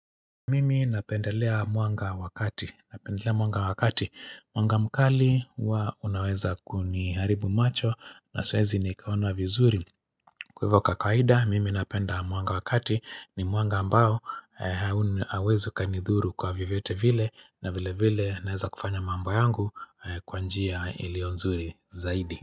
Mimi napendelea mwanga wakati, napendelea mwanga wakati, mwanga mkali huwa unaweza kuniharibu macho na siwezi nikaona vizuri. Kwa hivyo kwa kawaida, mimi napenda mwanga wa kati ni mwanga ambao hauwezi ukanidhuru kwa vyovyote vile na vile vile naweza kufanya mambo yangu kwa njia ilionzuri zaidi.